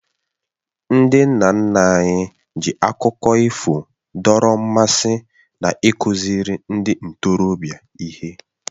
Ndị nna nna anyị ji akụkọ ifo dọrọ mmasị na ịkụziri ndị ntorobịa ihe